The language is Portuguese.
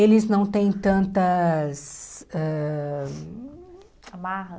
Eles não têm tantas ãh... Amarras.